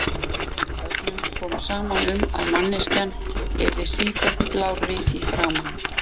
Öllum kom saman um að manneskjan yrði sífellt blárri í framan.